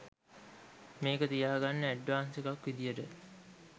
මේක තියාගන්න ඇඩ්වාස් එකක් විදිහට